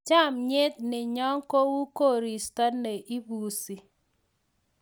chamiet nenyo ko u koristo ne imbusi